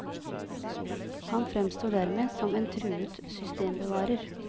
Han fremstår dermed som en truet systembevarer.